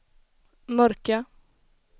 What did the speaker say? mörka